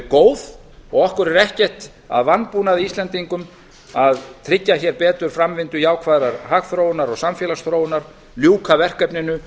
góð og okkur er ekkert að vanbúnaði íslendingum að tryggja hér betur framvindu jákvæðrar hagþróunar og samfélagsþróunar ljúka verkefninu